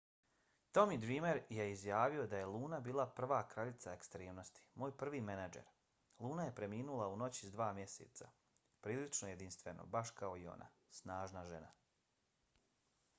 tommy dreamer je izjavio da je luna bila prva kraljica ekstremnosti. moj prvi menadžer. luna je preminula u noći s dva mjeseca. prilično jedinstveno baš kao i ona. snažna žena.